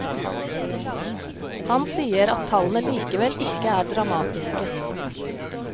Han sier at tallene likevel ikke er dramatiske.